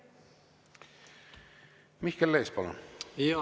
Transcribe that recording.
Mihkel Lees, palun!